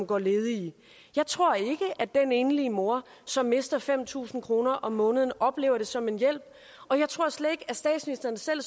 går ledige jeg tror ikke at den enlige mor som mister fem tusind kroner om måneden oplever det som en hjælp og jeg tror slet ikke at statsministeren selv